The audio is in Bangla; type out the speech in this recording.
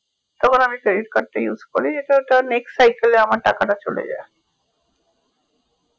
তখন আমি credit card টা use করি এটা next cycle আমার টাকাটা চলে যাই